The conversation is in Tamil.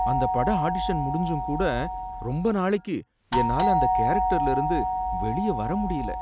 அந்த பட ஆடிஷன் முடிஞ்சும் கூட ரொம்ப நாளைக்கு என்னால அந்த கேரக்டர்ல இருந்து வெளிய வர முடியல.